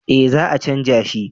Eh za a canja shi